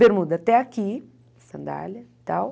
Bermuda até aqui, sandália e tal.